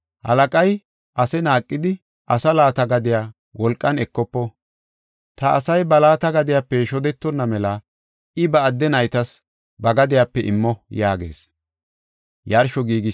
Halaqay ase naaqidi, asaa laata gadiya wolqan ekofo. Ta asay ba laata gadiyape shodetonna mela I ba adde naytas ba gadiyape immo” yaagees.